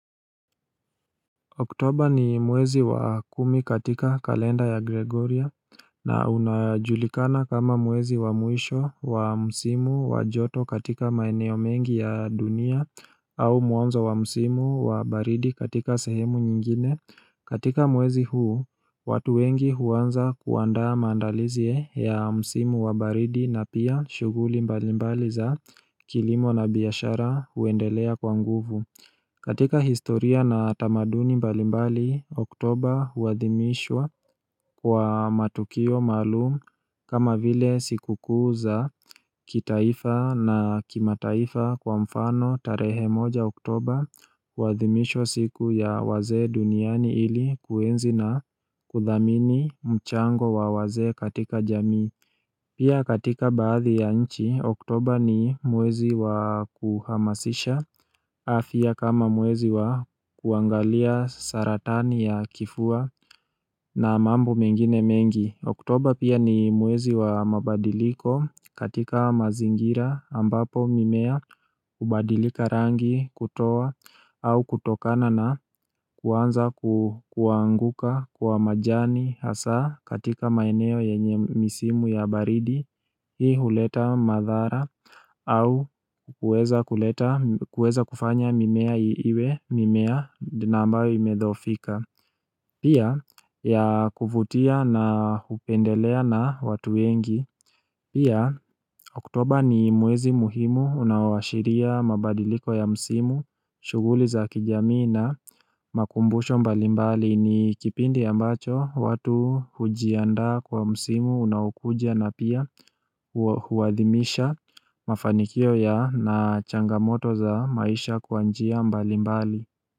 Oktoba ni mwezi wa kumi katika kalenda ya Gregoria na unajulikana kama mwezi wa mwisho wa msimu wa joto katika maeneo mengi ya dunia au mwanzo wa msimu wa baridi katika sehemu nyingine. Katika mwezi huu, watu wengi huanza kuandaa mandalizi ya msimu wa baridi na pia shughuli mbali mbali za kilimo na biashara huendelea kwa nguvu. Katika historia na tamaduni mbali mbali, oktoba hudhimishwa kwa matukio maalum kama vile siku kuu za kitaifa na kimataifa kwa mfano tarehe moja oktober huadhimishwa siku ya wazee duniani ili kuenzi na kudhamini mchango wa wazee katika jami. Pia katika baadhi ya nchi, oktoba ni mwezi wa kuhamasisha, afya kama mwezi wa kuangalia saratani ya kifua na mambo mengine mengi. Oktoba pia ni mwezi wa mabadiliko katika mazingira ambapo mimea hubadilika rangi kutoa au kutokana na kuanza kuanguka kwa majani haswa katika maeneo yenye misimu ya baridi Hii huleta madhara au kuweza kufanya mimea iwe mimea na ambayo imedhoofika Pia ya kuvutia na hupendelea na watu wengi. Pia oktoba ni mwezi muhimu unaowashiria mabadiliko ya msimu, shughuli za kijamii na makumbusho mbalimbali ni kipindi ambacho watu hujiandaa kwa msimu unaokuja na pia huathimisha mafanikio ya na changamoto za maisha kwa njia mbalimbali.